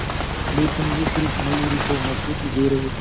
लेकिन ये सिर्फ मयूरी को मजबूती दे रहे थे